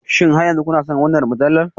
Shin har yanzu kuna son wannan mujallar?